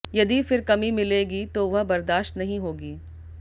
यदि फिर कमी मिलेगी तो वह बर्दाश्त नहीं होगी